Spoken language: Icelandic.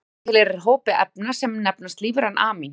histamín tilheyrir hópi efna sem nefnast lífræn amín